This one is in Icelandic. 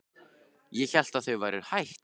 Ég hélt að þau væru hætt.